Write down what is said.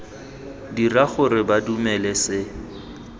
dira gore ba dumele se